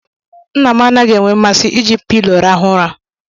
Nna m anaghị enwe mmasị iji pilo rahu ụra.